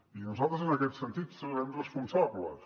i nosaltres en aquest sentit serem responsables